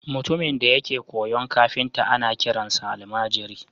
Mutumin da yake koyon kafinta ana kiransa almajiri